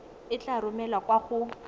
e tla romelwa kwa go